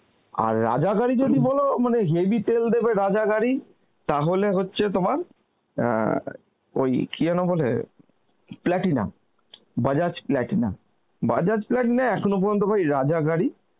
আর রাজা গাড়ি যদি বলো হেভি তেল দেবে রাজা গাড়ি, তাহলে হচ্ছে তোমার অ্যাঁ ওই কি যেন বলে platina, Bajaj platina. Bajaj platina এখনো পর্যন্ত ভাই রাজা গাড়ি